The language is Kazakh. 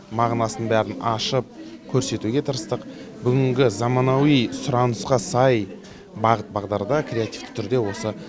мағынасын бәрін ашып көрсетуге тырыстық бүгінгі заманауи сұранысқа сай бағыт бағдарда креативті түрде осы